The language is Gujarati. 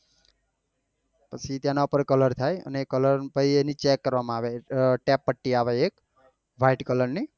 પછી તેના પર કલર થાય અને એ કલર પહી એની check કરવા આવે ટેપ પટ્ટી આવે એક white કલર ની